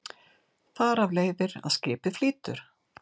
Þar af leiðir að skipið flýtur.